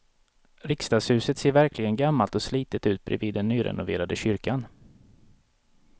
Riksdagshuset ser verkligen gammalt och slitet ut bredvid den nyrenoverade kyrkan.